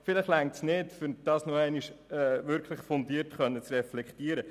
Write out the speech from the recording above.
Vielleicht reicht dies nicht aus, um das Thema nochmals fundiert zu reflektieren.